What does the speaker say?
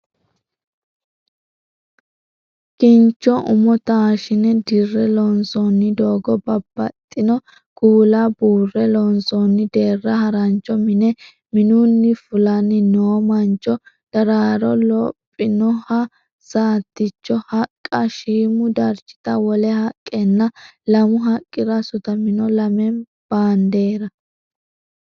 Kincho umo taashshine dirre loonsoonni doogo, babbaxxino kuula buurre loonsoonni deerra, harancho mine, minunni fulanni noo mancho, daraaro, lophinoha saattichu haqqa, shiimu darchita wole haqqenna lamu haqqira sutamino lame baandeera